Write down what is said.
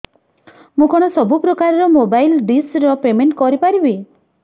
ମୁ କଣ ସବୁ ପ୍ରକାର ର ମୋବାଇଲ୍ ଡିସ୍ ର ପେମେଣ୍ଟ କରି ପାରିବି